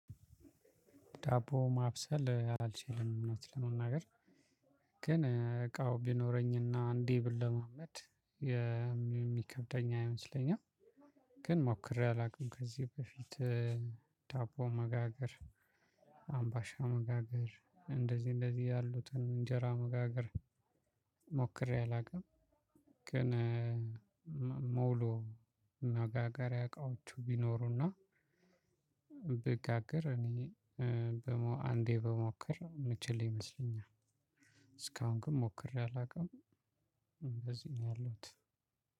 ዳቦ ማብሰል አልችልም እውነት ለመናገር ግን እቃው ቢኖረኝና አንዴ ብልማመድ የሚከብደኝ አይመስለኝም። ግን ሞክሬ አላውቅም ከዚህ በፊት ዳቦ መጋገር አምባሻ መጋገር እንደዚህ እንደዚህ ያሉትን እንጀራ መጋገር ሞክሬ አላውቅም። ግን መውሎ መጋገሪያ አቃዎቹ ቢኖሩና ብጋግር እኔ አንዴ ብሞክር የምችል ይመስለኛል። እስካሁን ግን ሞክሬ አላውቅም እንደዚህ ነው ያለሁት።